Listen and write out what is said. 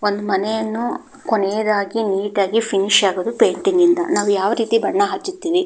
ಒಂದು ಮನೆಯನ್ನು ಕೊನೇಯದಾಗಿ ನೀಟಾಗಿ ಫಿನಿಷ್ ಆಗದು ಪೇಂಟಿಂಗ್ ಇಂದ ನಾವು ಯಾವು ರೀತಿ ಬಣ್ಣ ಹಚ್ಚುತಿವಿ --